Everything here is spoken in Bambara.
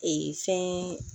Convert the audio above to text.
Ee fɛn